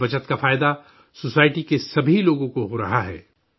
اس بچت کا فائدہ سوسائٹی کے سبھی لوگوں کو ہو رہا ہے